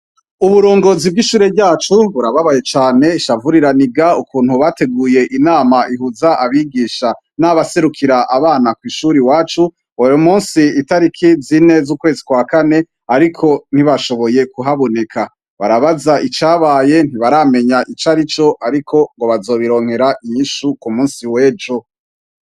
Uburongozi bw'ishure ryacu burababaye cane ishavuriraniga ukuntu bateguye inama ihuza abigisha n'abaserukira abana kw'ishuri wacu weri musi itariki zineza ukweswakane, ariko ntibashoboye kuhabuneka barabaza icabaye ntibaramenya ico ari co, ariko ngo bazobironkera ra iyishuku musi wejo.